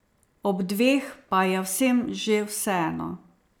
Ob dveh pa je vsem že vseeno.